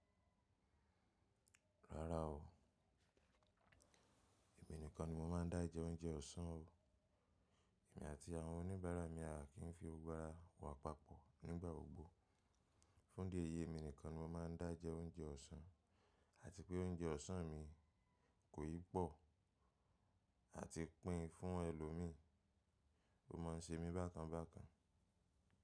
Rárá o, èmi nìkan ni mo máa ń dá jẹ oúnjẹ ọ̀sán o. Èmi àti àwọn oníbàárà mi á kì í fi gbogbo ara wà papọ̀ nígbà gbogbo. Fún dé èyí èmi nìkan ni mo máa ń dá jẹ oúnjẹ ọ̀sán, àti pé oúnjẹ ọ̀sán mi kò yìí pọ̀ àti pín fún ẹlòmíí. Ó ma ń ṣe mí bákan bákan.